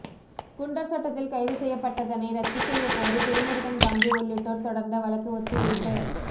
குண்டர் சட்டத்தில் கைது செய்யப்பட்டதனை ரத்து செய்ய கோரி திருமுருகன் காந்தி உள்ளிட்டோர் தொடர்ந்த வழக்கு ஒத்திவைப்பு